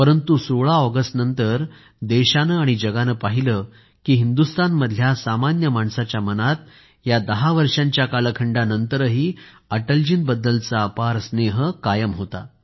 परंतु 16 ऑगस्टनंतर देशानं आणि जगाने पाहिलं की हिंदुस्तानमधल्या सामान्य माणसाच्या मनात या दहा वर्षांच्या कालखंडानंतरही अटलजींबद्दल अपार स्नेह कायम होता